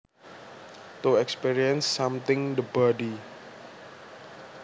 To experience something the body